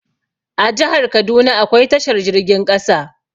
A jahar kaduna akwai tashar jirgin ƙasa